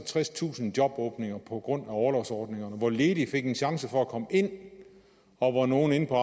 tredstusind jobåbninger på grund af orlovsordningerne hvor ledige fik en chance for at komme ind og hvor nogle inde på